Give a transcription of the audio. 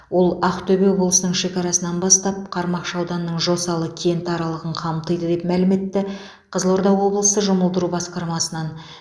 ол ақтөбе облысының шекарасынан бастап қармақшы ауданының жосалы кенті аралығын қамтиды деп мәлім етті қызылорда облысы жұмылдыру басқармасынан